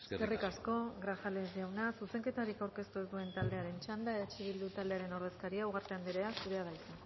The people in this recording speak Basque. eskerrik asko eskerrik asko grajales jauna zuzenketarik aurkeztu ez duen taldearen txanda eh bildu taldearen ordezkaria ugarte anderea zurea da hitza